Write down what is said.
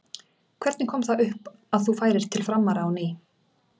Hvernig kom það upp að þú færir til Framara á ný?